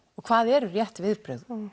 og hvað eru rétt viðbrögð